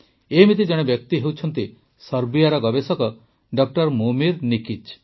ଏମିତି ଜଣେ ବ୍ୟକ୍ତି ହେଉଛନ୍ତି ସର୍ବିଆର ଗବେଷକ ଡ ମୋମିର୍ ନିକିଚ୍